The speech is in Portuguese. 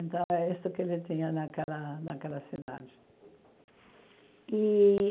Então, é isso que ele tinha naquela naquela cidade. E